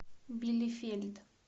билефельд